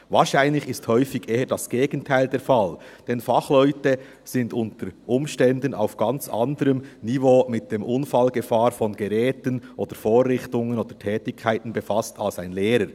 Wahrscheinlich ist häufig eher das Gegenteil der Fall, denn Fachleute sind unter Umständen auf ganz anderem Niveau mit der Unfallgefahr von Geräten, Vorrichtungen oder Tätigkeiten befasst als ein Lehrer.